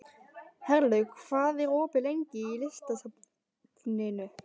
Herlaug, hvað er opið lengi í Listasafninu?